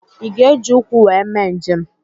I ga-eji ụkwụ wee mee njem?